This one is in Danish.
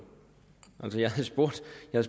af